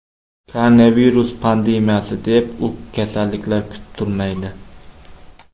Koronavirus pandemiyasi deb, u kasalliklar kutib turmaydi.